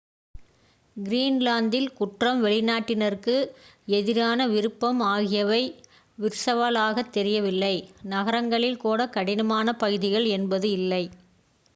"கிரீன்லாந்தில் குற்றம் வெளிநாட்டினருக்கு எதிரான விருப்பம் ஆகியவை விர்ச்சுவலாக தெரியவில்லை. நகரங்களில் கூட "கடினமான பகுதிகள்" என்பது இல்லை.